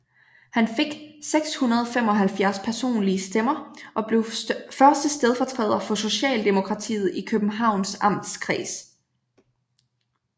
Han fik 675 personlige stemmer og blev første stedfortræder for Socialdemokratiet i Københavns Amtskreds